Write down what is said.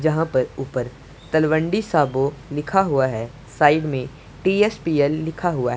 यहां पर ऊपर तलवंडी साबो लिखा हुआ है साइड में टी_एस_पी_एल लिखा हुआ है।